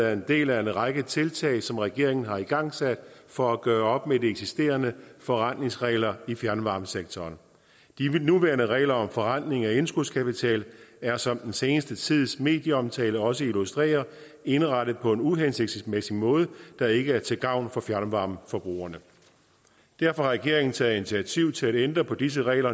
er en del af en række tiltag som regeringen har igangsat for at gøre op med de eksisterende forrentningsregler i fjernvarmesektoren de nuværende regler om forrentning af indskudskapital er som den seneste tids medieomtale også har illustreret indrettet på en uhensigtsmæssig måde der ikke er til gavn for fjernvarmeforbrugerne derfor har regeringen taget initiativ til at ændre på disse regler